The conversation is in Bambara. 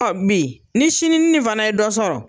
Ɔ bi ni sini nin fana ye dɔ sɔrɔ